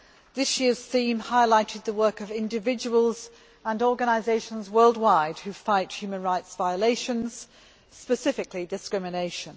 This year's theme highlighted the work of individuals and organisations worldwide who fight human rights violations, specifically discrimination.